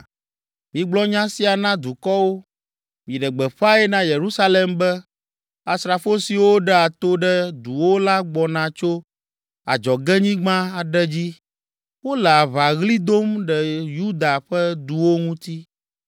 “Migblɔ nya sia na dukɔwo, miɖe gbeƒãe na Yerusalem be, ‘Asrafo siwo ɖea to ɖe duwo la gbɔna tso adzɔgenyigba aɖe dzi; wole aʋaɣli dom ɖe Yuda ƒe duwo ŋuti.